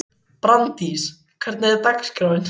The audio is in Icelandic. Brandís, hvernig er dagskráin?